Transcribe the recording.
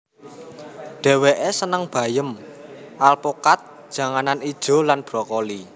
Dheweke seneng bayam alpukat janganan ijo lan brokoli